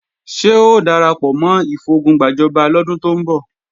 Ṣé o darapọ̀ mọ́ ìfogun gbàjọba lọ́dún tó ń bọ̀?